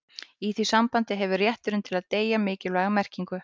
í því sambandi hefur rétturinn til að deyja mikilvæga merkingu